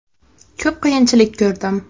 Ko‘p qiyinchilik ko‘rdim.